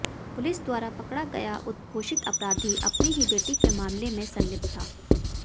police द्वारा पकड़ा गया उद्घोषित अपराधी अपनी ही बेटी के मामले में संलिप्त था